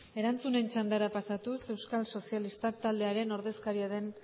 erantzunen txandara pasatuz euskal sozialistak taldearen ordezkaria den